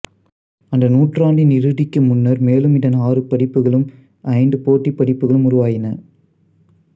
அந்த நூற்றாண்டின் இறுதிக்கு முன்னர் மேலும் இதன் ஆறு பதிப்புகளும் ஐந்து போட்டிப் பதிப்புக்களும் உருவாயின